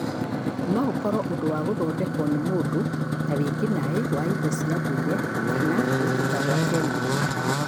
No ũkoro ũndũ wa gũthondeko nĩ mũndũ, ta wĩkinaĩ wa indo cia ndũire kana gũitĩka kwa kemiko.